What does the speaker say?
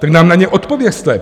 Tak nám na ně odpovězte.